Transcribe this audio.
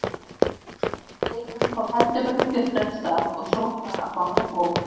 Leikurinn fór heldur betur fjörlega af stað og sótt var á báða bóga.